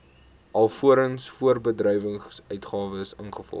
alvorens voorbedryfsuitgawes ingevolge